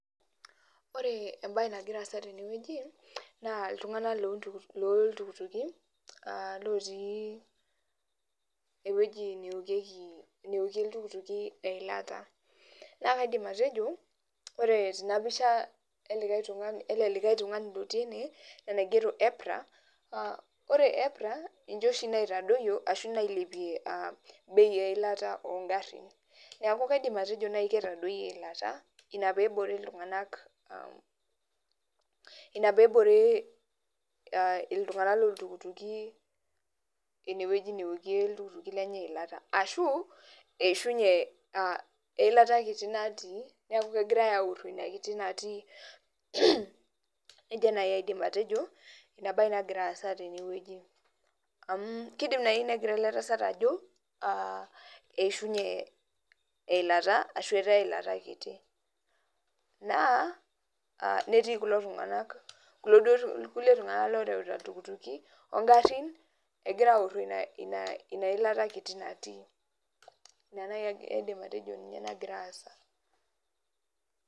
Ore ebae nagira aasa tenewueji, naa iltung'anak loltukituki, ah lotii ewueji neokieki neokie iltukituki eilata. Na kaidim atejo, ore tenapisha ele likae tung'ani lotii ene, ina naigero Epra, na ore Epra, ninche oshi naitadoyio ashu nailepie bei eilata ogarrin. Neeku kaidim atejo nai ketadoyie eilata, ina pebore iltung'anak, ina pebore iltung'anak loltukituki inewueji neokie iltukutuki enye eilata. Ashu, eishunye ah eilata kiti natii, neeku kegirai airro ina kiti natii. Nejia nai aidim atejo, enabae nagira aasa tenewueji. Amu kidim nai negira ele tasat ajo, ah eishunye eilata, ashu etaa eilata kiti. Naa, netii kulo tung'anak kulo duo kulie tung'anak loreuta iltukutuki, ogarrin, egira aorro ina ilata kiti natii. Ina nai aidim atejo ninye nagira aasa.